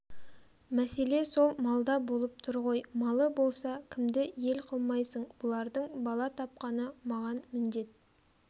мәселе сол малда болып тұр ғой малы болса кімді ел қылмайсың бұлардың бала тапқаны маған міндет